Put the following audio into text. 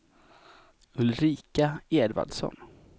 Ulrika Edvardsson